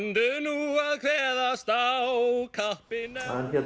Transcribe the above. kveðast á kappinn